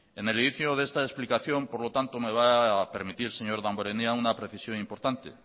en el inicio de esta explicación por lo tanto me va a permitir señor damborenea una precisión importante